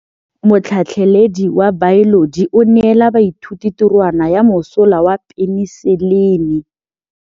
Motlhatlhaledi wa baeloji o neela baithuti tirwana ya mosola wa peniselene.